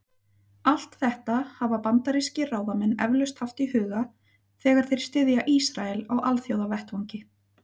Allt þetta hafa bandarískir ráðamenn eflaust haft í huga, þegar þeir styðja Ísrael á alþjóðavettvangi.